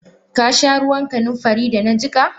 Kasha ruwan kanunfari da na jika.?